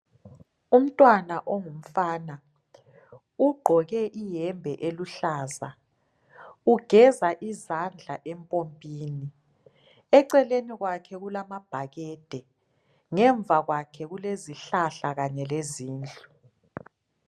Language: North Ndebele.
Umntwana ongumfana ugqoke iyembe eluhlaza ugeza izandla empompini eceleni kwakhe kulamabhakade ngemva kwakhe kulezihlahla kanye lezindlu